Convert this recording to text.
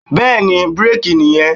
Bẹ́ẹ̀ni, bírèkì nì yẹn.